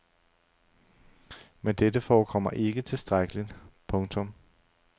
Men dette forekommer ikke tilstrækkeligt. punktum